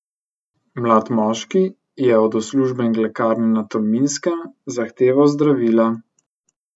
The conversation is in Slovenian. Mlad moški je od uslužbenk lekarne na Tolminskem zahteval zdravila.